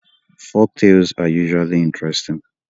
Folktales are usually interesting